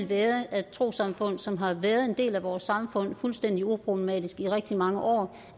være at trossamfund som har været en del af vores samfund fuldstændig uproblematisk i rigtig mange år